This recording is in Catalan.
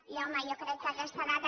i home jo crec que aquesta data